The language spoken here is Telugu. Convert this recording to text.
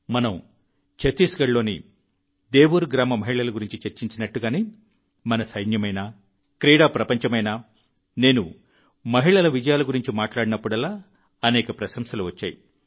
మనం ఛత్తీస్గఢ్లోని దేవుర్ గ్రామ మహిళల గురించి చర్చించినట్టుగానే మన సైన్యమైనా క్రీడా ప్రపంచమైనా నేను మహిళల విజయాల గురించి మాట్లాడినప్పుడల్లా అనేక ప్రశంసలు వచ్చాయి